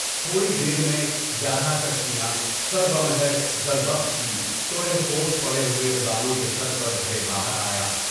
تھوڑی دیر میں گیارہ کشتیاں سربا مہر زربفت کی طرح یوش پڑے ہوئے غلاموں کے سر پر دھرے بام آیا۔